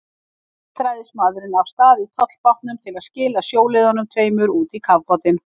Enn hélt ræðismaðurinn af stað í tollbátnum til að skila sjóliðunum tveimur út í kafbátinn.